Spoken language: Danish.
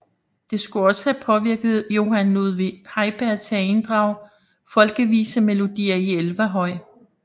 Det skulle også have påvirket Johan Ludvig Heiberg til at inddrage folkevisemelodier i Elverhøj